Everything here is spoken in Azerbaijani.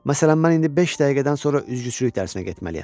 Məsələn, mən indi beş dəqiqədən sonra üzgüçülük dərsinə getməliyəm.